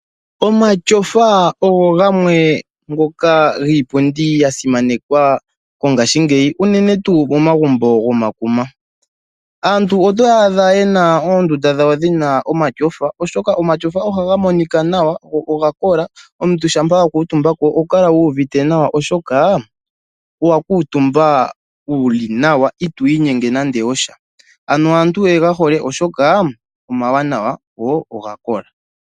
Omatyofa ogo gamwe ngoka giipundi ya simanekwa mongashingeyi, unene tuu momagumbo gomakuma. Aantu otoya adha ye na oondunda dhawo dhi na omatyofa, oshoka omatyofa ohaga monika nawa go oga kola, omuntu shampa a kuutumba ko oha kala uuvite nawa, oshoka owa kuutumba wu li nawa itoo inyenge nando osha. Ano aantu oye ga hole, oshoka omawanawa go oga kola.